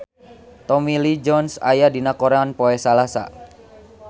Tommy Lee Jones aya dina koran poe Salasa